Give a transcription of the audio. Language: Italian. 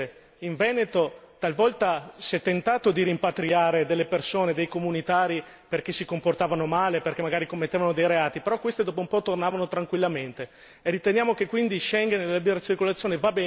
E pensate solo che per esempio nel mio paese, in Veneto, talvolta si è tentato di rimpatriare delle persone, dei comunitari perché si comportavano male, perché magari commettevano dei reati, però queste dopo un po' tornavano tranquillamente.